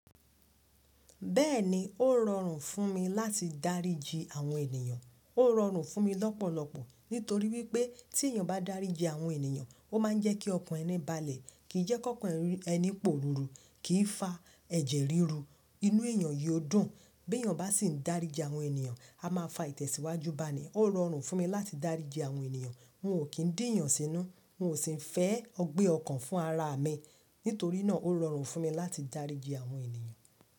Bẹ́ẹ̀ni, ó rọrùn fún mi láti dáríji àwọn ènìyàn. Ó rọrùn fún mi lọ́pọ̀lọpọ̀ nítorí wípé tí èèyàn bá dáríji àwọn ènìyàn, ó máa ń jẹ́ kí ọkàn ẹni balẹ̀, kìí jẹ́ kí ọkàn ẹni pòruru, kìí fa ẹ̀jẹ̀ ríru, inú èèyàn yóò dùn. Bí èèyàn bá sì ń dáríji àwọn ènìyàn, a máa fa ìtẹ̀síwájú bá ní. Ó rọrùn fún mi láti dáríji àwọn ènìyàn. N ò kí ń dìyàn sínú, n ò sì ń fẹ́ ọgbẹ́ ọkàn fún ara mi, nítorí náà ó rọrùn fún mi láti dáríji àwọn ènìyàn.